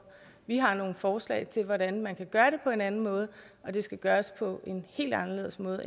vi har nogle forslag til hvordan man kan gøre det på en anden måde og det skal gøres på en helt anderledes måde